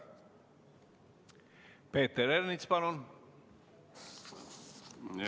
Peeter Ernits, palun!